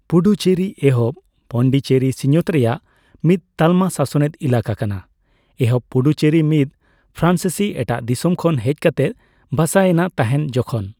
ᱯᱩᱰᱩᱪᱮᱨᱤ ᱮᱦᱚᱵᱺ ᱯᱚᱱᱰᱤᱪᱮᱨᱤ ᱥᱤᱧᱚᱛ ᱨᱮᱭᱟᱜ ᱢᱤᱫ ᱛᱟᱞᱢᱟ ᱥᱟᱥᱚᱱᱮᱫ ᱮᱞᱟᱠᱟ ᱠᱟᱱᱟ ᱾ ᱮᱦᱚᱵ ᱯᱩᱰᱩᱨᱮᱨᱤ ᱢᱤᱫ ᱯᱷᱨᱟᱸᱥᱤᱥᱤ ᱮᱴᱟᱜ ᱫᱤᱥᱚᱢ ᱠᱷᱚᱱ ᱦᱮᱡ ᱠᱟᱛᱮ ᱵᱟᱥᱟ ᱮᱱᱟ ᱛᱟᱦᱮᱸᱫ ᱡᱚᱠᱷᱚᱱ